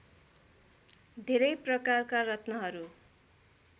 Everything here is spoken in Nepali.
धेरै प्रकारका रत्नहरू